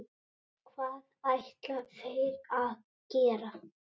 Hvað ætla þeir að gera?